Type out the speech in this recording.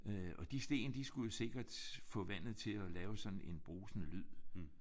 Øh de sten de skulle jo sikkert få vandet til at lave sådan en brusende lyd